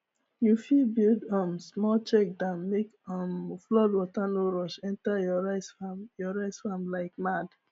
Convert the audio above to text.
you fit build um small check dam make um flood water no rush enter your rice farm your rice farm like mad